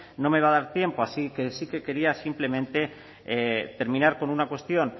no me va a dar tiempo así que sí que quería simplemente terminar con una cuestión